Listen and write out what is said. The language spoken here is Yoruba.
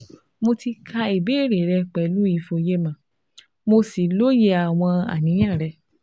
Mo ti ka ìbéèrè rẹ pẹ̀lú ìfòyemọ̀, mo sì lóye àwọn àníyàn rẹ